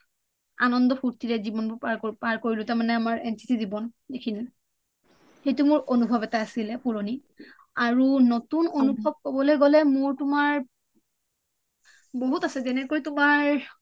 আনন্দ ফুৰ্টিৰে জীৱনবোৰ পাৰ কৰিলোঁ তাৰ মানে আমাৰ NCC জীৱন সিখিনি সেইটো মোৰ আনুভৱ এটা আছিলে পুৰণি আৰু নতুন আনুভৱ কবলৈ গলে মোৰ তোমাৰ বহুত আছে যেনেকৈ তোমাৰ